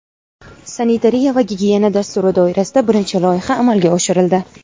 sanitariya va gigiyena dasturi doirasida birinchi loyiha amalga oshirildi.